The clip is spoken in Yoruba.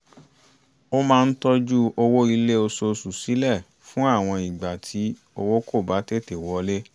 ó máa ń tọ́jú owó ilé oṣooṣù sílẹ̀ fún àwọn ìgbà tí owó kò bá tètè wọlé